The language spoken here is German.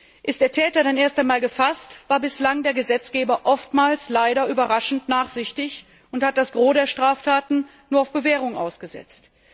War der Täter dann erst einmal gefasst, war bislang der Gesetzgeber oftmals leider überraschend nachsichtig und hat das Gros der Strafen nur auf Bewährung ausgesetzt.